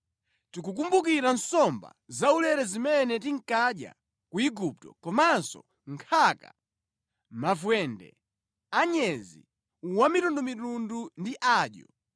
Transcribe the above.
Tikukumbukira nsomba zaulere zimene tinkadya ku Igupto komanso nkhaka, mavwende, anyezi wamitundumitundu ndi adyo.